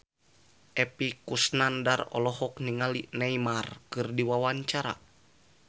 Epy Kusnandar olohok ningali Neymar keur diwawancara